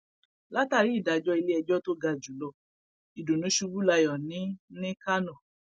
látàrí ìdájọ iléẹjọ tó ga jù lọ ìdùnnú ṣubú layọ ní ní kánò